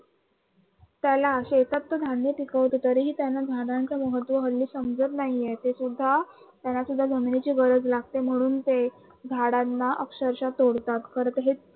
त्याला शेतात तो धन्य पिकवतो तरीही त्याला झाडांच महत्व हल्ली समजत नाही आहे. त्यांना सुद्धा जमिनीची गरज लागते म्हणून ते झाडांना अक्षरशः तोडतात. खर तर हे